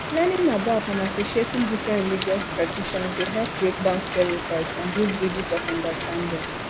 learning about and appreciating different religious traditions dey help break down stereotypes and build bridges of understanding